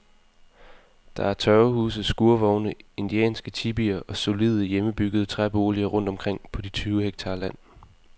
Der er tørvehuse, skurvogne, indianske tipier og solide, hjemmebyggede træboliger rundt omkring på de tyve hektar land.